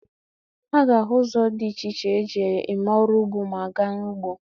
A ga-ahụ ụzọ dị iche iche e ji eme ọrụ ugbo ma a gaa n'ugbo.